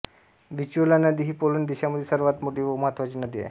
व्हिस्चुला नदी ही पोलंड देशामधील सर्वात मोठी व महत्त्वाची नदी आहे